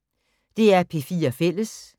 DR P4 Fælles